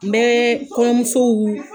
N bɛ kɔɲɔmusow